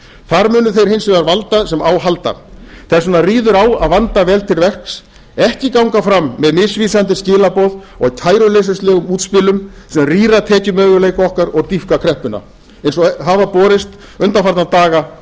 þar munu þeir hins vegar valda sem á halda þess vegna ríður á að vanda vel til verks ekki ganga fram með misvísandi skilaboð og kæruleysislegum útspilum sem rýra tekjumöguleika okkar og dýpka kreppuna eins og hafa borist undanfarna daga